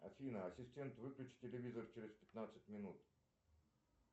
афина ассистент выключи телевизор через пятнадцать минут